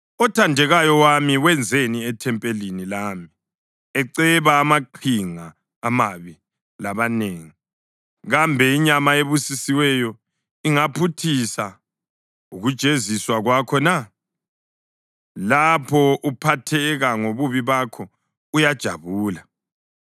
Othandekayo wami wenzani ethempelini lami eceba amaqhinga amabi labanengi? Kambe inyama ebusisiweyo ingaphuthisa ukujeziswa kwakho na? Lapho uphatheka ngobubi bakho, uyajabula.”